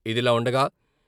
ఇదిలా ఉండగా..